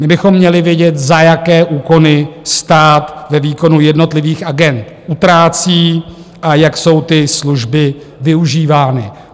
My bychom měli vědět, za jaké úkony stát ve výkonu jednotlivých agend utrácí a jak jsou ty služby využívány.